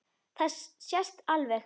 Það sést alveg.